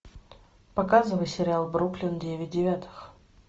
показывай сериал бруклин девять девятых